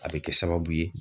A bɛ kɛ sababu ye